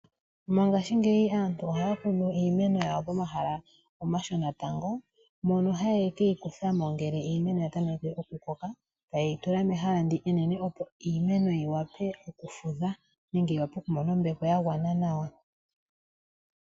Mongaashingeyi aantu ohaya kunu iimeno yawo momahala omashona tango mono haye keyikuthamo ngele iimeno ya tameke okukoka taye yi tula mekala ndi enene opo iimeno yi wape okufudha nenge yi wape okumona ombepo ya gwana nawa.